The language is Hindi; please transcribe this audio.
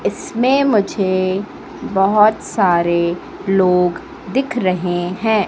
इसमें मुझे बहोत सारे लोग दिख रहे हैं।